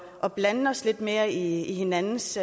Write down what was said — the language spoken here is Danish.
at blande os lidt mere i hinandens